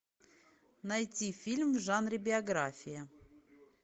найти фильм в жанре биография